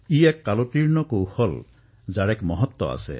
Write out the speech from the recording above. এয়া এক সময়ভিত্তিক কৌশল যাৰ বিভিন্ন মহত্ব আছে